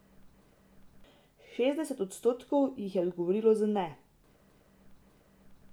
Šestdeset odstotkov jih je odgovorilo z ne.